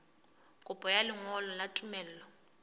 kopo ya lengolo la tumello